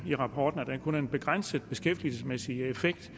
i rapporten at der kun er en begrænset beskæftigelsesmæssig effekt